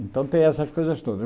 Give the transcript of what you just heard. Então tem essas coisas todas.